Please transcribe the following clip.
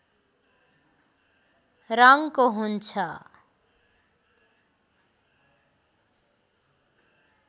रङको हुन्छ